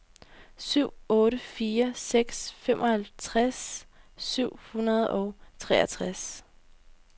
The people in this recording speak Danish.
syv otte fire seks femoghalvtreds syv hundrede og treogtres